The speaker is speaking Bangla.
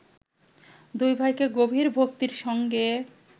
দুই ভাইকে গভীর ভক্তির সঙ্গে